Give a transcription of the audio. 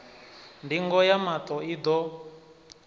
ndingo ya maṱo i ḓo